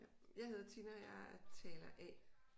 Jeg hedder Tina og jeg er taler A